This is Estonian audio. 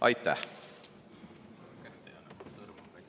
Aitäh!